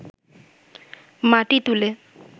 মাটি তুলে